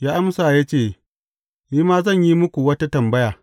Ya amsa ya ce, Ni ma zan yi muku wata tambaya.